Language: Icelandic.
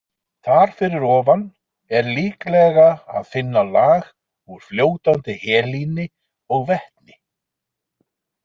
Þar fyrir ofan er líklega að finna lag úr fljótandi helíni og vetni.